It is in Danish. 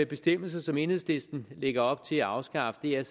bestemmelser som enhedslisten lægger op til at afskaffe er